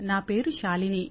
నా పేరు శాలిని